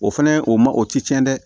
O fɛnɛ o ma o ti tiɲɛ dɛ